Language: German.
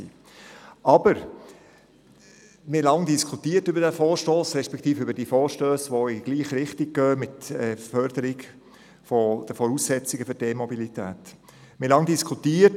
Wir haben lange über diesen Vorstoss respektive die Vorstösse, die mit der Förderung der Voraussetzungen für die E-Mobilität in die gleiche Richtung gehen, diskutiert.